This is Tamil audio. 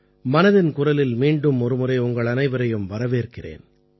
மனதின் குரலில் மீண்டும் ஒருமுறை உங்களனைவரையும் வரவேற்கிறேன்